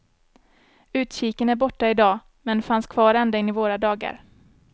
Utkiken är borta i dag, men fanns kvar ända in i våra dagar.